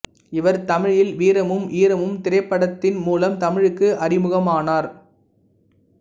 இவர் தமிழில் வீரமும் ஈரமும் திரைப்படத்தின் மூலம் தமிழுக்கு அறிமுகமானார்